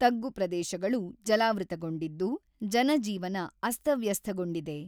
ತಗ್ಗು ಪ್ರದೇಶಗಳು ಜಲಾವೃತಗೊಂಡಿದ್ದು, ಜನಜೀವನ ಅಸ್ತವ್ಯಸ್ಥಗೊಂಡಿದೆ.